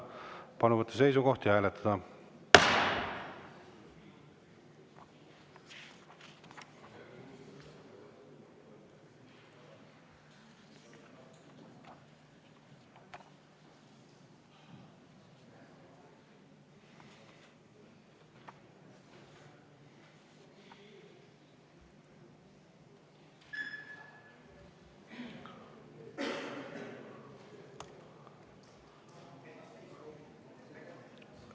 Palun võtta seisukoht ja hääletada!